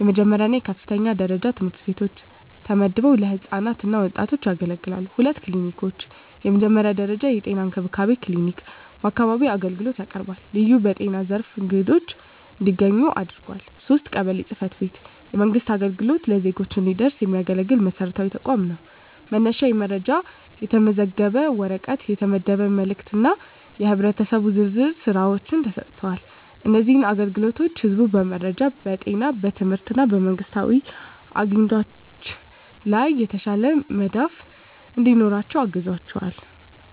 የመጀመሪያ እና የከፍተኛ ደረጃ ትምህርት ቤቶች ተመድበው ለህፃናት እና ወጣቶች ያገለግላሉ። 2. ክሊኒኮች፣ የመጀመሪያ ደረጃ የጤና እንክብካቤ ክሊኒክ በአካባቢው አገልግሎት ያቀርባል፣ ልዩ በጤና ዘርፍ አግድዶች እንዲያገኙ ያግዛል። 3. ቀበሌ ጽ/ቤት፣ የመንግሥት አገልግሎት ለዜጎች እንዲደረስ የሚያገለግል መሰረታዊ ተቋም ነው፤ መነሻ የመረጃ፣ የተመዘገበ ወረቀት፣ የተመደበ መልእክት እና የህብረተሰብ ዝርዝር ሥራዎች ተሰጥተዋል። እነዚህ አገልግሎቶች ህዝቡ በመረጃ፣ በጤና፣ በትምህርት እና በመንግስታዊ አግኝቶች ላይ የተሻለ መዳፍ እንዲኖራቸው ያግዛቸዋል።